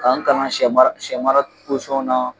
Ka n kalan sɛ mara sɛ mara posɔnw na